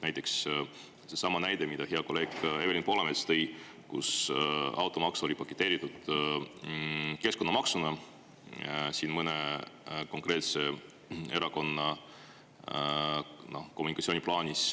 Näiteks seesama näide, mille hea kolleeg Evelin Poolamets tõi, kus automaks oli paketeeritud keskkonnamaksuna mõne konkreetse erakonna kommunikatsiooniplaanis.